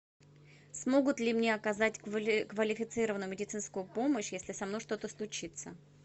смогут ли мне оказать квалифицированную медицинскую помощь если со мной что то случится